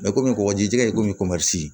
komi kɔkɔji jɛ komi ko